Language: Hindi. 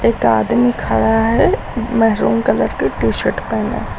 एक आदमी खड़ा है मेहरून कलर के टी शर्ट पहने--